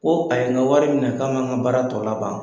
Ko a ye n ka wari minɛ k'a man ka baara tɔ laban.